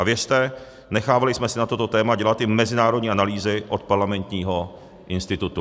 A věřte, nechávali jsme si na toto téma dělat i mezinárodní analýzy od Parlamentního institutu.